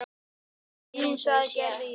Jú, það gerði ég.